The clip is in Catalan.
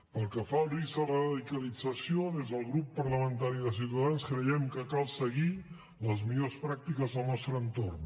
pel que fa al risc de radicalització des del grup parlamentari de ciutadans creiem que cal seguir les millors pràctiques del nostre entorn